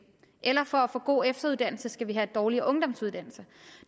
eller for at få gode efteruddannelser skal have dårligere ungdomsuddannelser